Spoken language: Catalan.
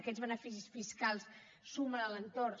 aquests beneficis fiscals sumen a l’entorn